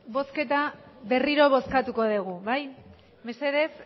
bozketa berriro bozkatuko degu bai mesedez